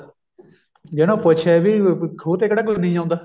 ਜੇ ਇਹਨੂੰ ਪੁੱਛੇ ਵੀ ਕੋਈ ਖੂਹ ਤੇ ਕਿਹੜਾ ਨਹੀਂ ਆਉਂਦਾ